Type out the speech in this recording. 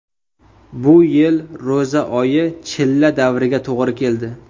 Bu yil ro‘za oyi chilla davriga to‘g‘ri keldi.